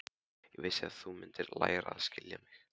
Ég vissi að þú mundir læra að skilja mig.